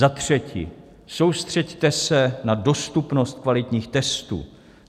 Za třetí, soustřeďte se na dostupnost kvalitních testů.